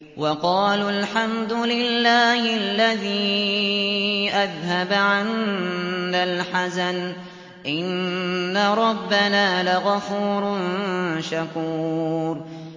وَقَالُوا الْحَمْدُ لِلَّهِ الَّذِي أَذْهَبَ عَنَّا الْحَزَنَ ۖ إِنَّ رَبَّنَا لَغَفُورٌ شَكُورٌ